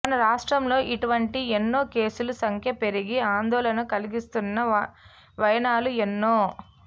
మన రాష్ట్రంలో ఇటువంటి ఎన్నో కేసులు సంఖ్య పెరిగి ఆందోళన కలిగిస్తున్న వైనాలు ఎన్నో